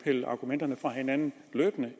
pillet argumenterne fra hinanden